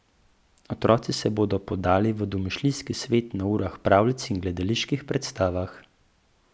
Otroci se bodo podali v domišljijski svet na urah pravljic in gledaliških predstavah.